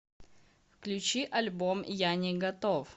включи альбом я не готов